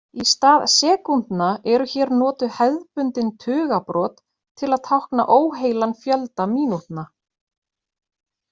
Í stað sekúndna eru hér notuð hefðbundin tugabrot til að tákna óheilan fjölda mínútna.